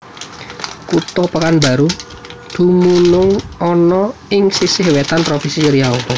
Kutha Pekanbaru dumunung ana ing sisih wétan Provinsi Riau